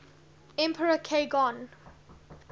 emperor k gon